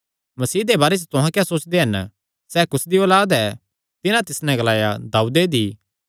मसीह दे बारे च तुहां क्या सोचदे हन सैह़ कुसदी औलाद ऐ तिन्हां तिस नैं ग्लाया दाऊदे दी